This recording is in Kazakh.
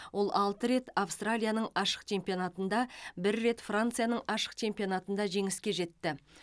ол алты рет австралияның ашық чемпионатында бір рет францияның ашық чемпионатында жеңіске жетті